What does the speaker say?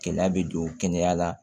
Gɛlɛya bɛ don kɛnɛya la